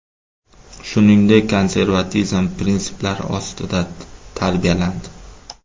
Shuningdek, konservatizm prinsiplari ostida tarbiyalandi.